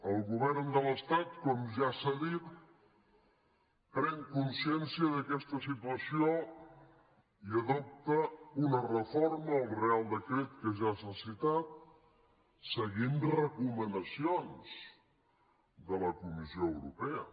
el govern de l’estat com ja s’ha dit pren consciència d’aquesta situació i adopta una reforma al reial decret que ja s’ha citat seguint recomanacions de la comissió europea